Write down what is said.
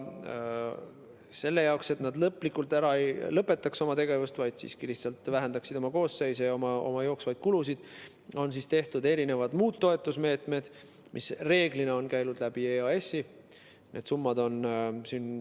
Selle jaoks, et nad lõplikult oma tegevust ei lõpetaks, vaid lihtsalt vähendaksid koosseise ja jooksvaid kulusid, on tehtud muud toetusmeetmed, mis reeglina on käinud EAS‑i kaudu.